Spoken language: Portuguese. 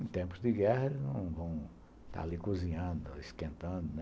Em tempos de guerra, eles não vão estar ali cozinhando, esquentando, né.